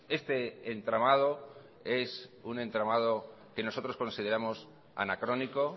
este entramado es un entramado que nosotros consideramos anacrónico